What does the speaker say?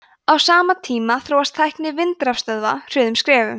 á sama tíma þróast tækni vindrafstöðva hröðum skrefum